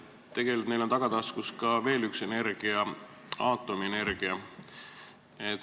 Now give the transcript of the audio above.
Tegelikult on neil tagataskus veel üks energia – aatomienergia.